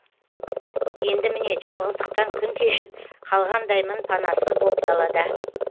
енді міне жалғыздықтан күн кешіп қалғандаймын панасыз боп далада